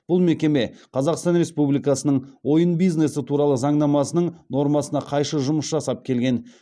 бұл мекеме қазақстан республикасының ойын бизнесі туралы заңнамасының нормасына қайшы жұмыс жасап келген